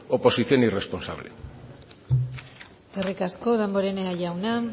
oposición irresponsable eskerrik asko damborenea jauna